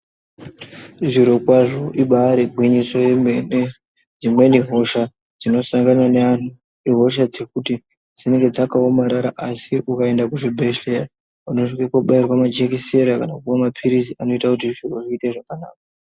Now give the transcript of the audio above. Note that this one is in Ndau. Zviro kwazvo ibaarigwinyiso remene dzimweni hosha dzinosangana neantu ihosha dzekuti dzinonga dzakaomarara asi ukaenda kuzvibhehleya unosvika kobairwa majekisera kana kupuwa mapilizi kuti zviro zviite zvakanaka.